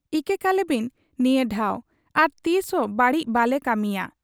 ᱤᱠᱟᱹ ᱠᱟᱞᱮᱵᱤᱱ ᱱᱤᱭᱟ ᱰᱷᱟᱶ ᱟᱨ ᱛᱤᱥᱦᱚᱸ ᱵᱟᱹᱲᱤᱡ ᱵᱟᱯᱮ ᱠᱟᱹᱢᱤᱭᱟ' ᱾